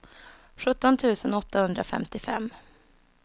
sjutton tusen åttahundrafemtiofem